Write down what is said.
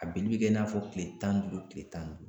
A pikiri bɛ kɛ i n'a fɔ kile tan ni duuru kile tan ni duuru